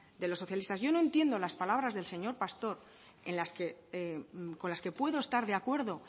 de los socialistas yo no entiendo las palabras del señor pastor en las que con las que puedo estar de acuerdo